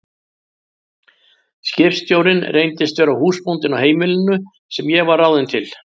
Skipstjórinn reyndist vera húsbóndinn á heimilinu sem ég var ráðin til.